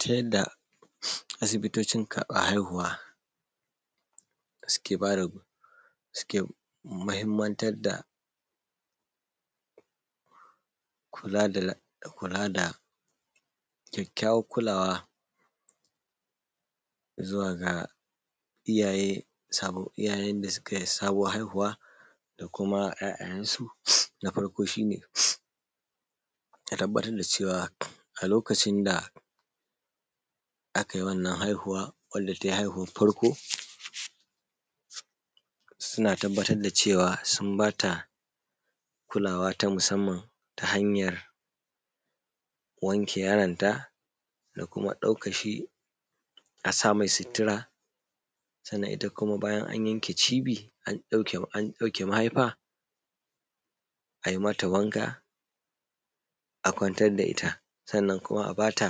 Ta yadda asibitocin karbar haihuwa suke bada suke mahimmantar da kula da kula da kyakyawan kulawa zuwa ga iyaye sabo, iyayen da su kai sabon haihuwa da kuma ‘ya’ya yensu. Na farko shi ne ka tabbatar da cewa a lokacin da akai wannan haihuwa wanda te haihuwan farko suna tabbatar da cewa sun bata kulawa ta musamman ta hanyar wanke yaronta da kuma daukan shi a sa mai sutura sannan ita kuma bayan an yanke cibi an dauke mahaifa ai mata wanka a kwantar da ita sannan kuma a bata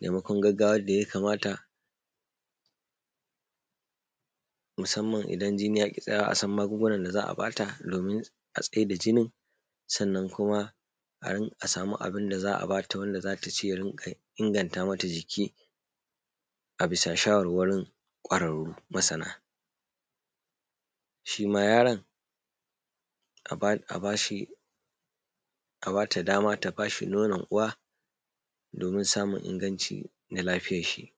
taimakon gaggawa yadda ya kamata, musamman idan jini ya ƙi tsayawa asan magungunan da za a bata domin a tsaida jinin, sannan kuma a samu abinda za a bata wanda zata ci ya rinƙa ingata mata jiki, a bisa shawarwarin kwararu masana. Shima yaron a bashi, a bata dama ta bashi nonon uwa domin samun inganci na lafiyan shi.